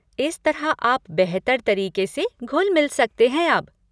इस तरह आप बेहतर तरीके से घुल मिल सकते हैं अब।